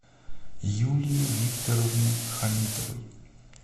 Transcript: юлии викторовне хамитовой